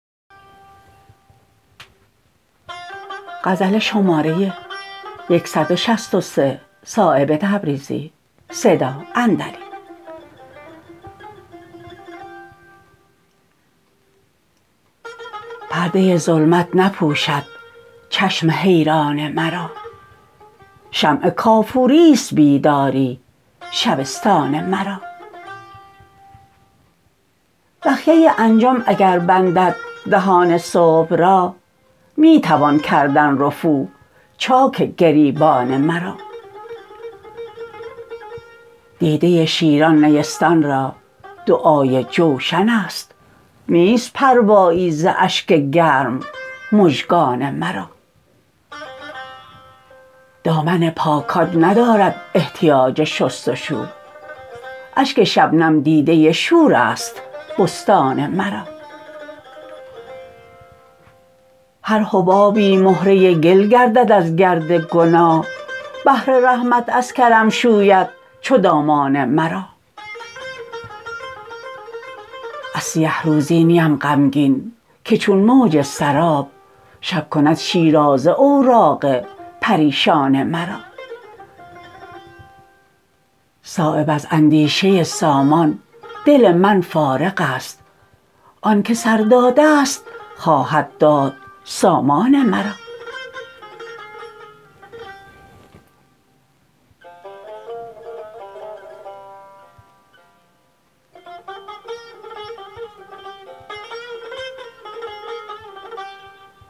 پرده ظلمت نپوشد چشم حیران مرا شمع کافوری است بیداری شبستان مرا بخیه انجم اگر بندد دهان صبح را می توان کردن رفو چاک گریبان مرا دیده شیران نیستان را دعای جوشن است نیست پروایی ز اشک گرم مژگان مرا دامن پاکان ندارد احتیاج شستشو اشک شبنم دیده شورست بستان مرا هر حبابی مهره گل گردد از گرد گناه بحر رحمت از کرم شوید چو دامان مرا از سیه روزی نیم غمگین که چون موج سراب شب کند شیرازه اوراق پریشان مرا صایب از اندیشه سامان دل من فارغ است آن که سر داده است خواهد داد سامان مرا